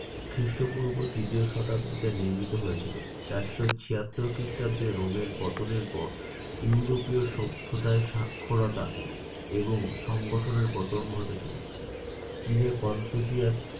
খ্রিষ্টপূর্ব তৃতীয় শতাব্দীতে নির্মিত হয়েছিল। চারশ ছিয়াত্তর খ্রিস্টাব্দে রোমের পতনের পর ইউরোপীয় সভ্যতায় সাক্ষরতা এবং সংগঠনের পতন ঘটেছিল। চীনে কনফুসিয়াস